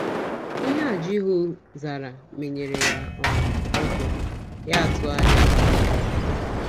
Ihe a Jihu zara menyere ya um ụjọ, ya atụgharịa ka ọ gbalaga.